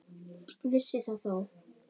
Vissi það þó.